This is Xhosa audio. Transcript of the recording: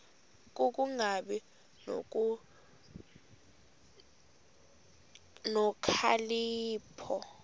ku kungabi nokhalipho